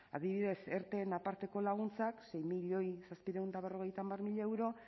adibidez erteren aparteko laguntzak sei milioi zazpiehun eta berrogeita hamar mila euro